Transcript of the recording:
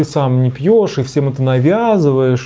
ты сам не пьёшь и всем это навязываешь